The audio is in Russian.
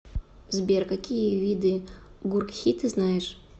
сбер какие виды гуркхи ты знаешь